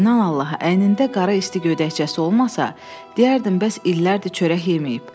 İnan Allaha, əynində qara isti gödəkçəsi olmasa, deyərdim bəs illərdir çörək yeməyib.